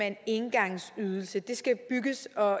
en engangsudgift det skal bygges og